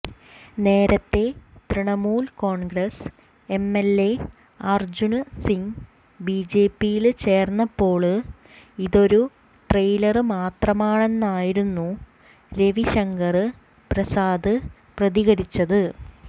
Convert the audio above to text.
നേരത്തെ തൃണമൂല് കോണ്ഗ്രസ് എംഎല്എ അര്ജുന് സിങ് ബിജെപിയില് ചേര്ന്നപ്പോള് ഇതൊരു ട്രെയിലര് മാത്രമാണെന്നായിരുന്നു രവിശങ്കര് പ്രസാദ് പ്രതികരിച്ചത്